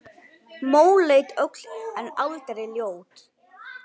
Móleit öll en aldrei ljót.